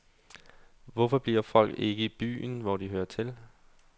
Hvorfor bliver folk ikke i byen, hvor de hører til.